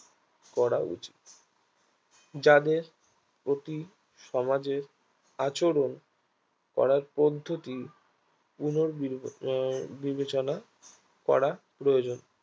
করা উচিত যাদের অতি সমাজের আচরণ করার পদ্ধতি পুনর্বি আহ বিবেচনা করা প্রয়োজন